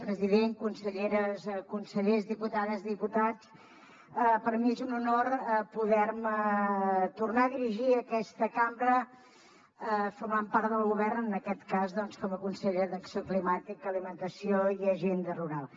president conselleres consellers diputades diputats per mi és un honor poder me tornar a dirigir a aquesta cambra formant part del govern en aquest cas doncs com a consellera d’acció climàtica alimentació i agenda rural